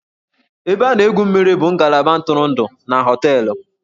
Ebe a na-egwu mmiri bụ ngalaba ntụrụndụ na hóteélụ̀